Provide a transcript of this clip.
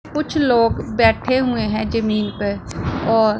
कुछ लोग बैठे हुए हैं जमीन पर और--